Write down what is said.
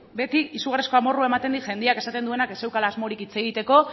beti izugarrizko amorrua ematen dit jendiak esaten duenak ez zeukala asmorik hitz egiteko